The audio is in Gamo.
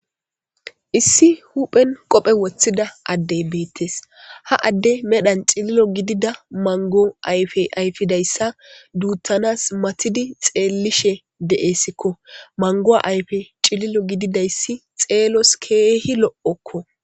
issi huphen qophe woththida addey beettes ha adde medhan cililo gidida mango ayfe ayfidayssa duutanas matidi xeellishe de7esikko mangoa ayfe cililo gididayssi xeelos keehi lo7okko